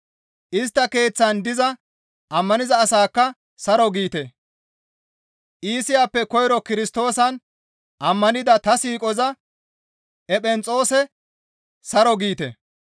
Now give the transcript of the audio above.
Istta keeththan diza ammaniza asaakka saro giite; Iisiyappe koyro Kirstoosan ammanida ta siiqoza Ephenexoose saro giite.